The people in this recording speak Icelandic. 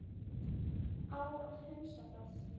Á að hunsa það?